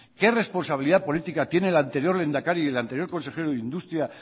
qué responsabilidad política tiene el anterior lehendakari y el anterior consejero de industria